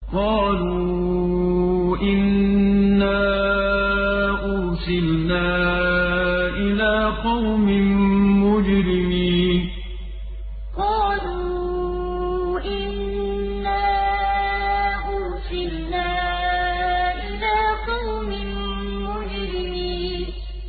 قَالُوا إِنَّا أُرْسِلْنَا إِلَىٰ قَوْمٍ مُّجْرِمِينَ قَالُوا إِنَّا أُرْسِلْنَا إِلَىٰ قَوْمٍ مُّجْرِمِينَ